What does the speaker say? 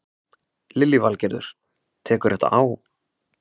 Lillý Valgerður: Tekur þetta á?